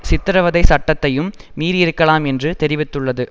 சித்திரவதை சட்டத்தையும் மீறியிருக்கலாம் என்று தெரிவித்துள்ளது